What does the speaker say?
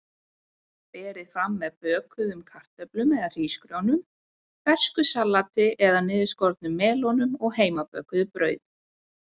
Berið fram með bökuðum kartöflum eða hrísgrjónum, fersku salati eða niðurskornum melónum og heimabökuðu brauði.